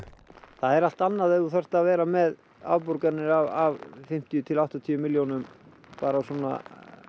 það er allt annað ef þú þarft að vera með afborganir af fimmtíu til áttatíu milljónum af svona